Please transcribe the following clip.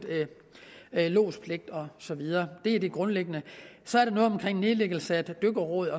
lodspligt og så videre det er det grundlæggende så er der noget om nedlæggelse af dykkerrådet